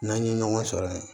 N'an ye ɲɔgɔn sɔrɔ yen